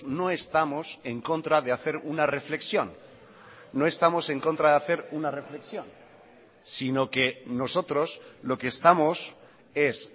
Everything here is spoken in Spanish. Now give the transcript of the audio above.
no estamos en contra de hacer una reflexión no estamos en contra de hacer una reflexión sino que nosotros lo que estamos es